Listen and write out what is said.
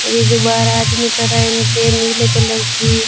ये जो बाहर आदमी खड़ा है इनके नीले कलर की--